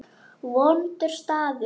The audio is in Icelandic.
Vondur staður.